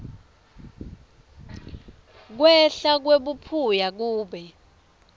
kwehla kwebuphuya kube